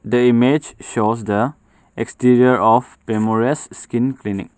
The image shows the exterior of pemoresse skin clinic.